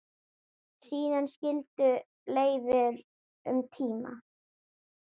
Síðan skildu leiðir um tíma.